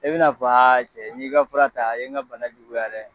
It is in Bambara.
E bi n'a f'a cɛ n y'i ka fura ta a ye n ka bana juguyaya dɛ